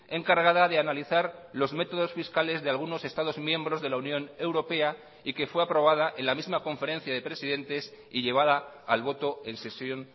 encargada de analizar los métodos fiscales de algunos estados miembros de la unión europea y que fue aprobada en la misma conferencia de presidentes y llevada al voto en sesión